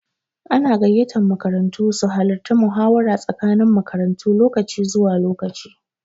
Ana gayyatan makarantu su halara muhawara tsakanin makarantu lokaci zuwa lokaci.